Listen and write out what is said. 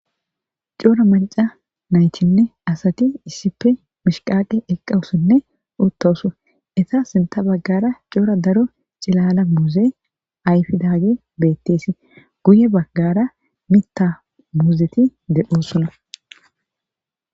Coora maca naythinne asati issippe mishqaqe eqqawusinne uttousu eta sinta baggara coora daro cilala muuze ayfidaage betteesi guye baggara mita muuzeti dedhosuna.